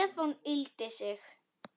Stefán yggldi sig.